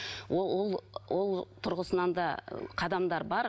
ол ол ол тұрғысынан да қадамдар бар